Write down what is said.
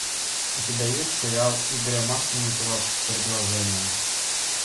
у тебя есть сериал игоря масленникова предложение